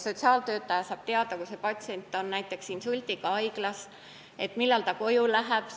Sotsiaaltöötaja saab teada, kui patsient on insuldiga haiglas, ja teab ka, millal ta koju läheb.